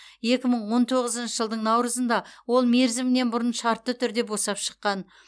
екі мың он тоғызыншы жылдың наурызында ол мерзімінен бұрын шартты түрде босап шыққан